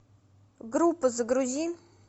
группа загрузи